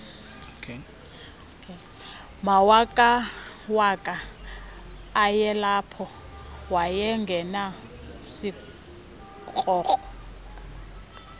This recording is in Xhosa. mawakawaka ayelapho wayengenasikrokro